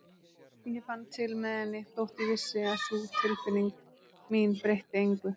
Ég fann til með henni þótt ég vissi að sú tilfinning mín breytti engu.